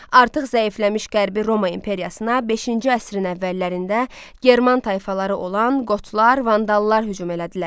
Artıq zəifləmiş Qərbi Roma imperiyasına beşinci əsrin əvvəllərində German tayfaları olan Qotlar, Vandallar hücum elədilər.